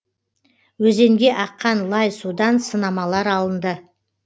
өзенге аққан лай судан сынамалар алынды